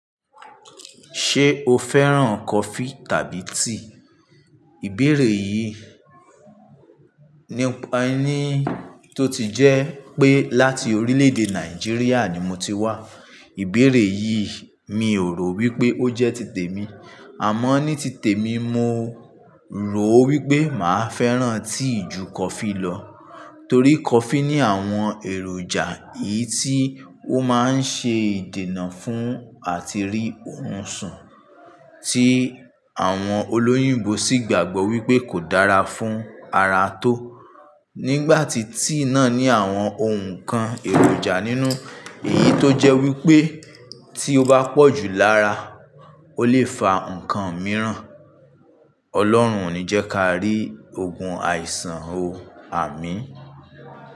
Ṣé o fẹ́ràn coffee tàbí tea? Ìbéèrè yìí nípa ẹni tó ti jẹ́ pé láti orílẹ̀-èdè Nigeríà ni mo ti wá. Ìbéèrè yìí mi ò rò wípé ó jẹ́ titẹ̀ mi, àmọ́ ní titẹ̀ mi, mo rò wípé màá fẹ́ràn tea ju coffee lọ. Torí coffee ní àwọn èròjà èyí tí ó máa ń ṣe ìdènà fún àti rí oorun sùn, tí àwọn olóyìnbó sì gbàgbọ́ wípé kò dára fún ara tó. Nígbà tí tea náà ní àwọn ǹkan èròjà nínú èyí tó jẹ́ wípé tí ó bá pọ̀ jù lára, ó lè fa ǹkan mìíràn. Ọlọ́run ò ní jẹ́ ká rí ogun àìsàn o. Àmín.